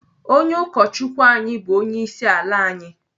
Onye ụkọchukwu anyị bụ onyeisiala anyị.